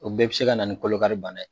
O bɛɛ bɛ se ka na ni kolo kari bana ye.